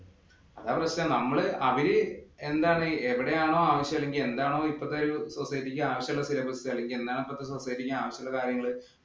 അതാ പ്രശ്നം നമ്മള് അവര് എന്താണ് എവിടെയാണോ ആവശ്യം അല്ലെങ്കില്‍ എന്താണോ ഇപ്പോഴത്തെ ഒരു society ഇക്ക് ആവശ്യം ഉള്ള syllabus എന്താണോ ഇപ്പോഴത്തെ ഒരു society ഇക്ക് ആവശ്യം ഉള്ള കാര്യങ്ങള്